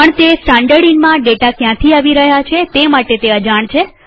પણ તે સ્ટાનડર્ડઈનમાં ડેટા ક્યાંથી આવી રહ્યા છે તે માટે અજાણ છે